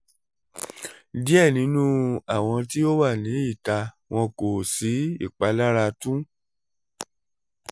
diẹ ninu awọn ti o wa ni ita wọn ko si ipalara tun